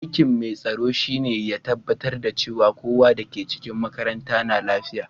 Aiki'n mai tsaron shine ya tabatar cewa kowa da ke cikin makarantan na lafiya.